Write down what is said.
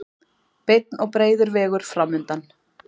Beinn og breiður vegur framundan.